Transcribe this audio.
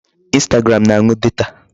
Instagram na-anu data.